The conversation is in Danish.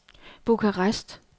Bukarest